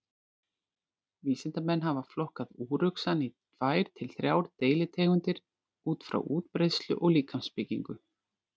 Vísindamenn hafa flokkað úruxann í tvær til þrjár deilitegundir út frá útbreiðslu og líkamsbyggingu.